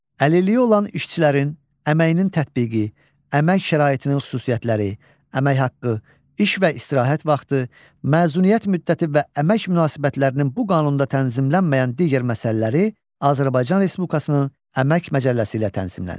Əlilliyi olan işçilərin əməyinin tətbiqi, əmək şəraitinin xüsusiyyətləri, əmək haqqı, iş və istirahət vaxtı, məzuniyyət müddəti və əmək münasibətlərinin bu qanunda tənzimlənməyən digər məsələləri Azərbaycan Respublikasının əmək məcəlləsi ilə tənzimlənir.